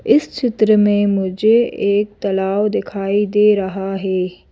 इस चित्र में मुझे एक तालाव दिखाई दे रहा है।